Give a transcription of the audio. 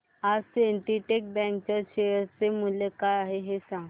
आज Syndicate bank च्या share चे मूल्य काय आहे हे सांगा